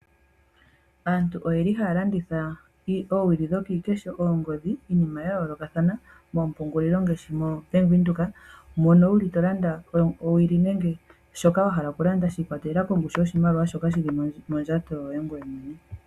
Aantu oyeli haya landitha oowili dhokiikesho ,oongodhi ,iinima ya yolakathana mopungulilo ngaashi mo bank Windhoek mono wuli tolanda owili nenge shoka wa hala oku landa shi ikwatelela kongushu yoshimaliwa shoka shili mondjato yoye